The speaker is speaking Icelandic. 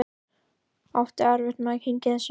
Átti erfitt með að kyngja þessu.